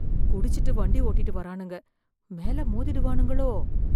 குடிச்சுட்டு வண்டி ஓட்டிட்டு வரானுங்க, மேல மோதிடுவானுங்களோ?